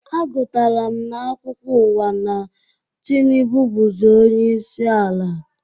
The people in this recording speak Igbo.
A gụtara m na-akwukwo uwa na Tịnubụ buzi onyeisi ala